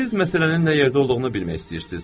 Siz məsələnin nə yerdə olduğunu bilmək istəyirsiz?